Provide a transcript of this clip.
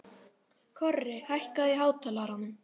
Korri, hækkaðu í hátalaranum.